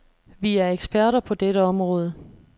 Vi er eksperter på dette område.